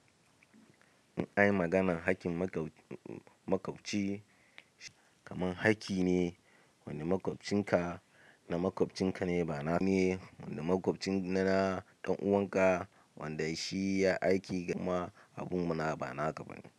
In an yi maganar haƙƙin makwabci, kamar haƙƙi ne wanda makwabcinka na makwabcinka ne ba na ne, wanda makwabcinka na ɗan'uwan ka wanda shi ya yi aiki kuma abun bana ba naka ba ne.